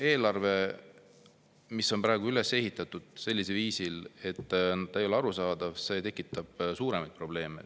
Eelarve, mis on üles ehitatud sellisel viisil, et ta ei ole arusaadav, tekitab suuremaid probleeme.